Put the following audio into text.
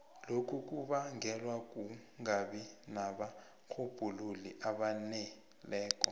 lokhu kubangelwa kungabi nabarhubhululi abaneleko